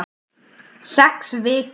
Sex vikur.